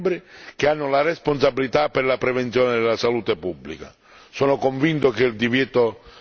Questo compito spetta agli Stati membri che hanno la responsabilità per la prevenzione della salute pubblica.